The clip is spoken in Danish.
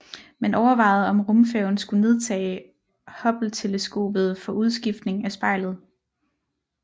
Man overvejede om rumfærgen skulle nedtage Hubbleteleskopet for udskiftning af spejlet